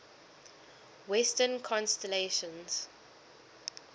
western constellations